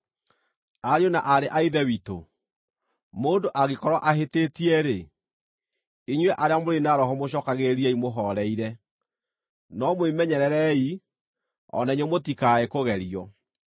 Ariũ na aarĩ a Ithe witũ, mũndũ angĩkorwo ahĩtĩtie-rĩ, inyuĩ arĩa mũrĩ na roho mũcookagĩrĩriei mũhooreire. No mwĩmenyererei, o na inyuĩ mũtikae kũgerio.